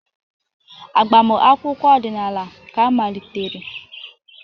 Agbamakwụkwọ ọdịnala ka malitere.